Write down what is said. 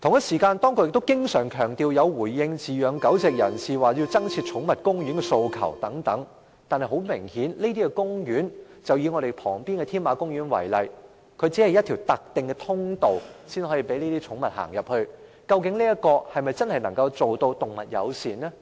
此外，當局經常強調有回應飼養狗隻人士對增設寵物公園的訴求。可是，很明顯，這些公園......以立法會大樓旁邊的添馬公園為例，只有一條特定的通道讓寵物進入，這樣是否真的能夠做到動物友善？